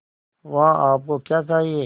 वहाँ आप को क्या चाहिए